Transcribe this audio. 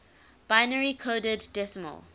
binary coded decimal